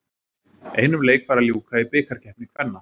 Einum leik var að ljúka í bikarkeppni kvenna.